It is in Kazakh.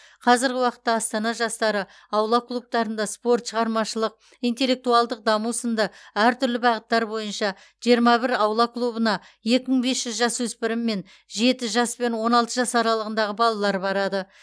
қазіргі уақытта астана жастары аула клубтарында спорт шығармашылық интеллектуалды даму сынды әртүрлі бағыттар бойынша жиырма бір аула клубына екі мың бес жүз жасөспірім мен жеті жас пен он алты жас аралығындағы балалар барады